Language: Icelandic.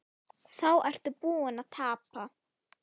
Þá ertu búinn að tapa.